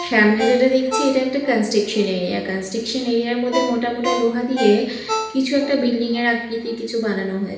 সামনে যেটা দেখছি এটা একটা কনস্ট্রেকশন এরিয়া কনস্ট্রেকশন এরিয়া -এর মধ্যে মোটামোটা লোহা দিয়ে কিছু একটা বিল্ডিং -এর আকৃতি কিছু বানানো হয়ে--